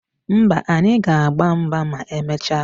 Mba, anyị ga-agba mgba ma emecha